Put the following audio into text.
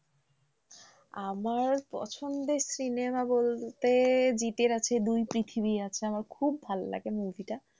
আমার পছন্দের cinema বলতে জিতের আছে দুই পৃথিবী আছে আমার খুব ভালো লাগে movie টা